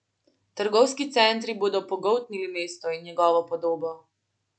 Trgovski centri bodo pogoltnili mesto in njegovo podobo.